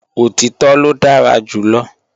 Òtítọ́ ló dára jù lọ